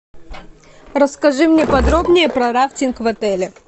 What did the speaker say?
расскажи мне подробнее про рафтинг в отеле